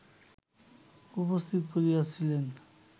উপস্থিত করিয়াছিলেন